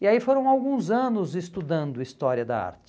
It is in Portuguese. E aí foram alguns anos estudando história da arte.